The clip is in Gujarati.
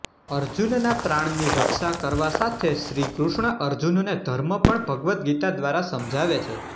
અર્જુનના પ્રાણની રક્ષા કરવા સાથે શ્રી કૃષ્ણ અર્જુનને ધર્મ પણ ભગવદ્ ગીતા દ્વારા સમજાવે છે